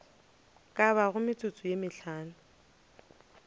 ka bago metsotso ye mehlano